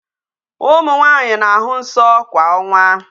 Ụmụ nwaanyi na-ahụ nsọ kwa onwa.